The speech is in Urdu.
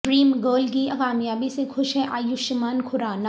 ڈریم گرل کی کامیابی سے خوش ہیں ایوشمان کھرانہ